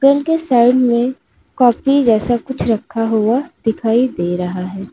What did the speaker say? Side में copy जैसा कुछ रखा हुआ दिखाई दे रहा है।